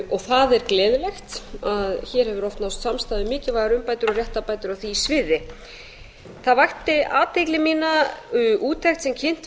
og það er gleðilegt að hér hefur oft náðst samstaða um mikilvægar umbætur og réttarbætur á því sviði það vakti athygli mína úttekt sem kynnt var